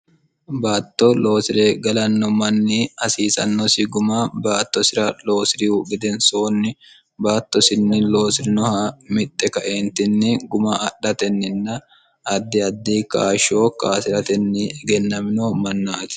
baatto loosire galanno manni hasiisannosi guma baatto sira loosirihu gedensoonni baattosinni loosirinoha mixxe kaeentinni guma adhatenninna addi addi kaashshoo kaasiratenni egennamino mannaati